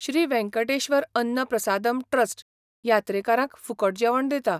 Shri Venkateshwara Anna Prasadam trust यात्रेकारांक फुकट जेवण दिता.